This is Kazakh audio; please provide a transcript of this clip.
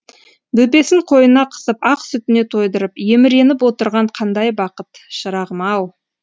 бөпесін қойнына қысып ақ сүтіне тойдырып еміреніп отырған қандай бақыт шырағым ау